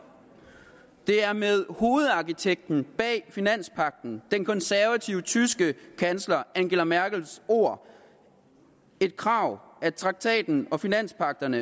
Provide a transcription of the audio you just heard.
det er med hovedarkitekten bag finanspagten den konservative tyske kansler angela merkels ord et krav at traktaten og finanspagten